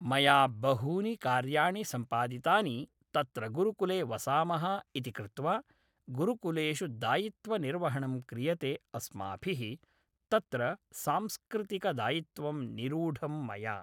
मया बहूनि कार्याणि सम्पादितानि तत्र गुरुकुले वसामः इति कृत्वा गुरुकुलेषु दायित्वनिर्वहणं क्रियते अस्माभिः तत्र सांस्कृतिकदायित्वं निरूढं मया